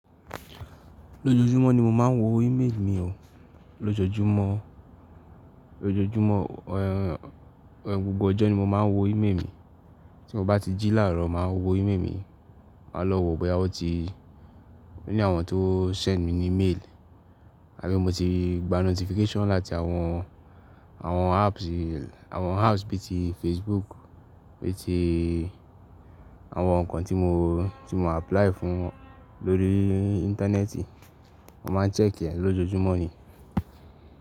Lójojúmọ́ ni mo máa ń wo email mi o. Lójojúmọ́, lójojúmọ́, ẹ́, gbogbo ọjọ́ ni mo máa ń wo email mi. Tí mo bá ti jí làárọ̀ máa wo email mi, máa lọ wo bẹ́ẹ̀rẹ́ wọ́n ti, bóyá àwọn tó send mi ni mail. Àbí mo ti gba notification láti àwọn, àwọn apps, àwọn apps bí i Facebook, bí tí àwọn nǹkan tí mo, tí mo apply fún lórí íńtánẹ́ẹ̀tì. Mo máa ń check ẹ lójoojúmọ́ ni.